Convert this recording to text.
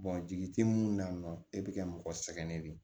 jigi tɛ mun na e bɛ ka mɔgɔ sɛgɛnnen de ye